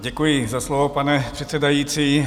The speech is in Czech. Děkuji za slovo, pane předsedající.